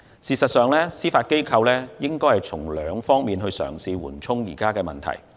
事實上，司法機構可以循兩方面嘗試緩衝現有問題。